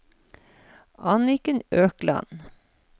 Anniken Økland